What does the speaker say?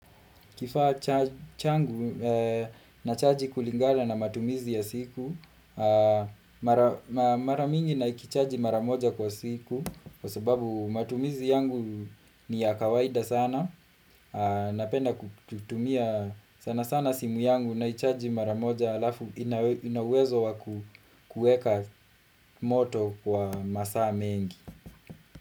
Kifaa changu, nachaji kulingala na matumizi ya siku Maramingi nakichaji maramoja kwa siku Kwa sababu matumizi yangu ni ya kawaida sana Napenda kutumia sana sana simu yangu naichaji maramoja Alafu inauwezo wa kuweka moto kwa masaa mengi.